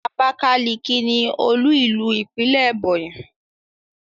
Abakaliki ni olú ìlú ìpínlẹ̀ Ebonyi.